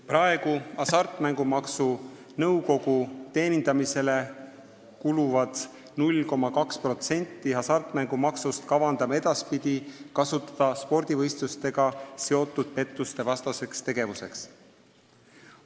Praegu Hasartmängumaksu Nõukogu teenindamisele kuluva 0,2% hasartmängumaksust kavandame edaspidi kasutada spordivõistlustega seotud pettuste vastaseks tegevuseks.